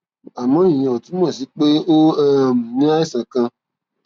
àmọ ìyẹn ò túmọ sí pé o um ní àìsàn kan